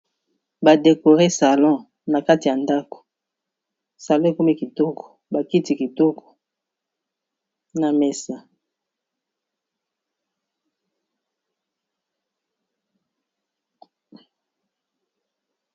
Ba décorer salon na kati ya ndaku. Salon ekomi kitoko, ba kiti kitoko, na mesa .